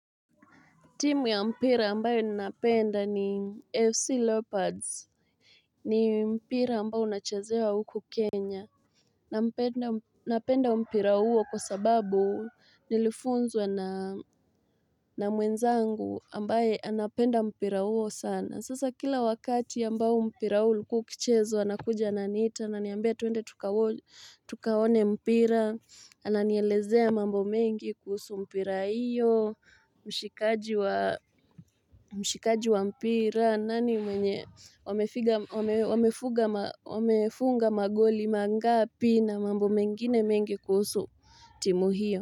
Timu ya mpira ambayo ninapenda ni FC Lopards, ni mpira ambayo unachazewa huku Kenya. Napenda mpira huo kwa sababu nilifunzwa na mwenzangu ambaye anapenda mpira huo sana. Sasa kila wakati ambayo mpira huu ulikuwa ukichezwa anakuja ananiitaa ananiambia tuende tukaone mpira. Ananielezea mambo mengi kuhusu mpira hiyo, mshikaji mshikaji wa mpira, nani mwenye wamefunga magoli mangapi na mambo mengine mengi kuhusu timu hiyo.